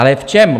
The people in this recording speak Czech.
Ale v čem?